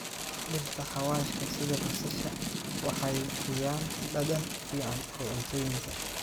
Dhirta xawaashka sida basasha waxay bixiyaan dhadhan fiican oo cuntooyinka.